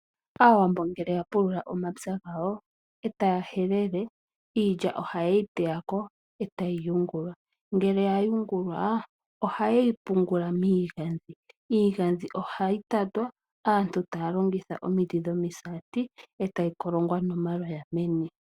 Aawambo ngele yapulula omapya gawo, e taya helele iilya ohaye yi teya ko etayi yungulwa. Ngele yayungulwa ohaye yi pungula miigandhi. Iigandhi ohayi tatwa aantu taya longitha omiti dhomisati etayi kolongwa nomaloya meni.